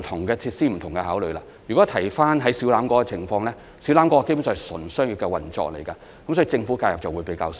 說回小欖跳蚤市場的情況，那基本上是純商業的運作，所以，政府的介入會比較少。